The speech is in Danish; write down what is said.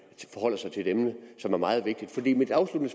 forholder sig til et emne som er meget vigtigt mit afsluttende